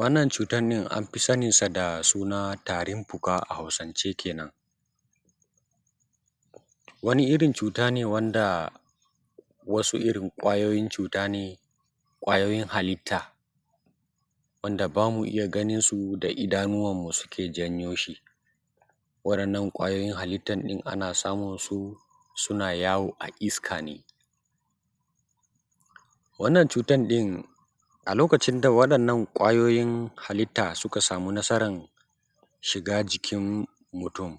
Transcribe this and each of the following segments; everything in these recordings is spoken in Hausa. wannan cutar ɗin an fi saninsa da tarin fuka a hausance kenan wani irin cuta ne wanda wasu irin ƙwayoyin cuta ne ƙwayoyin halitta wanda ba mu iya ganinsu da idanuwanmu suke janyo shi waɗannan ƙwayoyin halittan ɗin ana samunsu suna yawo a iska ne wannan cutan ɗin a lokacinta waɗannan ƙwayoyin halitta suka samu nasaran shiga jikin mutum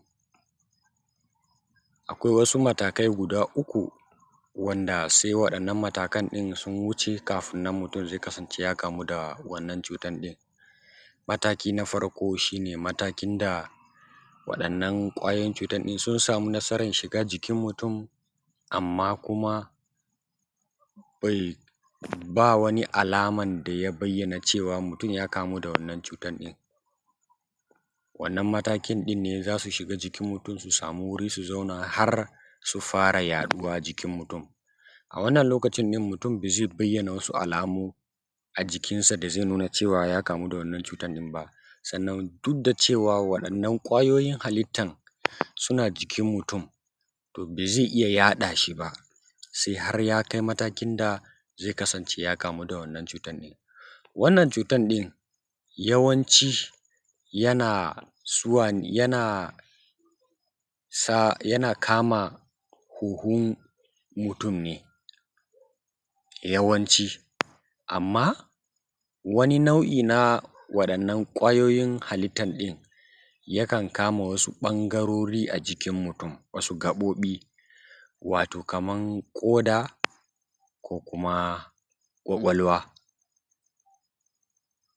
akwai wasu matakai guda uku wanda sai waɗannan matakan ɗin sun wuce kafin nan mutum zai kasance ya kamu da wannan cutan ɗin mataki na farko shi ne matakin da waɗannan ƙwayoyin cutan ɗin sun samu nasaran shiga jikin mutum amma kuma bai ba wani alaman da ya bayyana cewa mutum ya kamu da wannan cutan ɗin wannan matakin ɗin ne za su shiga ǳikin mutum su samu wuri su zauna har su fara yaɗuwa jikin mutum a wannan lokacin ɗin mutum ba zai bayyana wasu alamu a jikinsa da zai nuna ya kamu da wannan cutan ɗin ba sannan duk da cewa waɗannan ƙwayoyin halittan suna jikin mutum to ba zai iya yaɗa shi ba sai har ya kai matakin da zai kasance ya kamu da wannan cutan ɗin wannan ʧutan ɗin yawanci yana yana kama huhun mutum ne yawanci amma wani nau’i na waɗannan ƙwayoyin halittan ɗin yakan kama wasu ɓangarori a jikin mutum wasu gaɓoɓi wato kaman ƙoda ko kuma ƙwaƙwalwa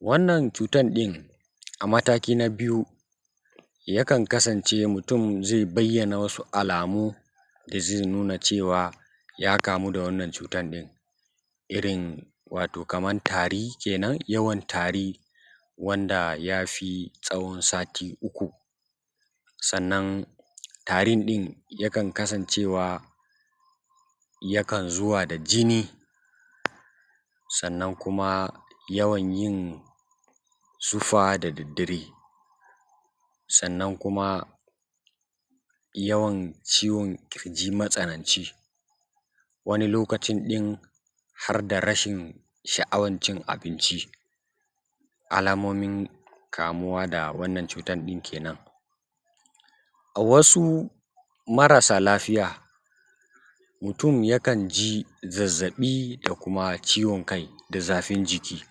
wannan cutan ɗin a mataki na biyu yakan kasance mutum zai bayyana wasu alamu da zai nuna cewa ya kamu da wannan cutan ɗin irin wato kaman tari kenan yawan tari wanda ya fi tsawon sati uku sannan tarin ɗin yakan kasancewa yakan zuwa da jini sannan kuma yawan yin zufa da daddare sannan kuma yawan ciwon ƙirji matsananci wani lokacin ɗin har da rashin sha’awan cin abinci alamomin kamuwa da wannan cutan ɗin kenan a wasu marasa lafiya mutum yakan ji zazzaɓi da kuma ciwon kai da zafin jiki